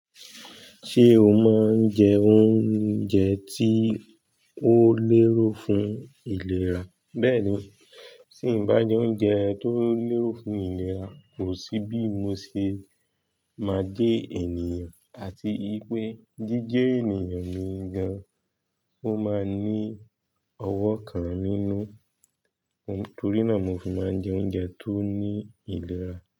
Ṣé o máa ń jẹ oúnjẹ tí ó lérò fún ìlera? Bẹ́ẹ̀ni, tí ń bá jẹ oúnjẹ tó lérò fún ìlera, kò sí bí mo ṣe máa dé ènìyàn àti ipé jíjẹ ènìyàn mìí gàn, ó máa ní ọwọ́ kan nínú. Nítorí náà mo fi máa ń jẹ oúnjẹ tó ní ìlera.